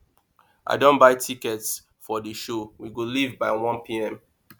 i don buy tickets for the show we go leave by 1pm